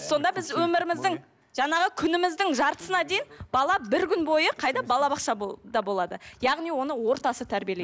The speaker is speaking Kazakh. сонда біз өміріміздің жаңағы күніміздің жартысына дейін бала бір күн бойы қайда балабақша болады яғни оны ортасы тәрбиелейді